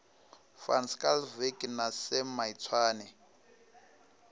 van schalkwyk na sam maitswane